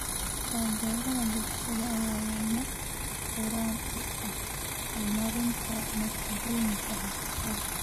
Taageerada bulshada ayaa lama huraan u ah horumarinta natiijooyinka waxbarashada.